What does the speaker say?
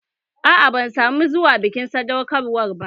Aa, ban samu zuwa bikin sadaukar wa ba